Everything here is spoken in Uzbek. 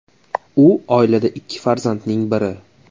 U oilada ikki farzandning biri.